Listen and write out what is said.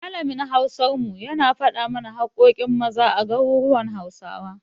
Malamin Hausar mu, yana faɗa mana haƙƙoƙin Maza a garuruwan Hausawa.